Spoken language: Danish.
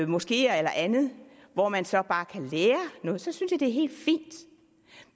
moskeer eller andet hvor man så bare kan lære noget så synes jeg at det er helt fint